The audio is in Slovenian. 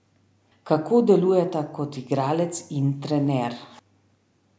Kako delujeta kot igralec in trener?